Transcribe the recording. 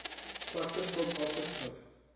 slegte skuld afgeskryf